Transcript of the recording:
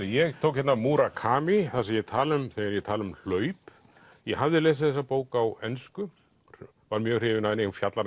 ég tók hérna það sem ég tala um þegar ég tala um hlaup ég hafði lesið þessa bók á ensku var mjög hrifinn af henni hún fjallar